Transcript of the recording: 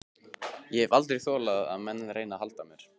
Ég hef aldrei þolað að menn reyni að halda mér.